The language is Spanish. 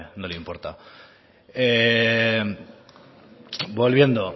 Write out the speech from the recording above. no le importa volviendo